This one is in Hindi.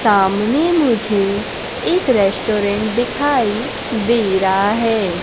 सामने मुझे एक रेस्टोरेंट दिखाई दे रहा है।